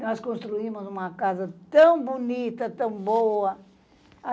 Nós construímos uma casa tão bonita, tão boa.